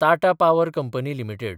Tata power company limited